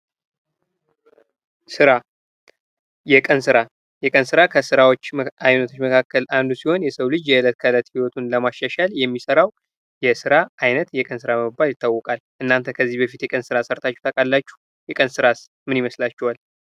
ስራ የቀን ስራ የቀን ስራ ከስራ አይነቶች መካከል አንዱ ሲሆን የሰው ልጅ የእለት ከለት ይወቱን ለማሻሻል የሚሰራው የስራ አይነት የቀን ስራ በመባል ይታወቃል። እናንተ ከዚህ በፊት የቀን ስራ ሰርታችሁ ታውቃላችሁ? የቀን ራስ ምን ይመስላችኋል?